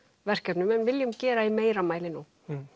verkefnum en viljum gera í meira mæli nú